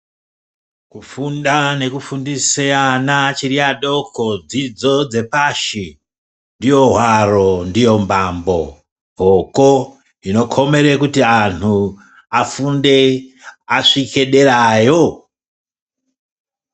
Kufunda nekugundise ana achiri adoko dzidzo dzepashi ndiyo hwaro ndiyo mbambo hoko inokomeye kuti anhu afunde asvike derayo.